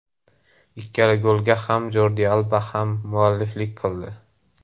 Ikkala golga ham Jordi Alba hammualliflik qildi.